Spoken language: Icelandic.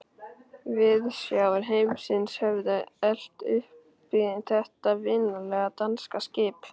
Viðsjár heimsins höfðu elt uppi þetta vinalega, danska skip.